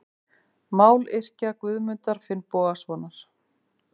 Mályrkja Guðmundar Finnbogasonar.